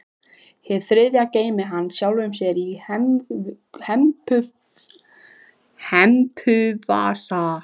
Hið þriðja geymdi hann sjálfum sér í hempuvasa.